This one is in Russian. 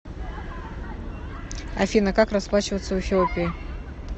афина как расплачиваться в эфиопии